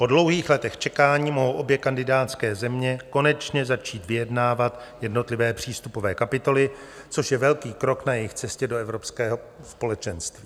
Po dlouhých letech čekání mohou obě kandidátské země konečně začít vyjednávat jednotlivé přístupové kapitoly, což je velký krok na jejich cestě do Evropského společenství.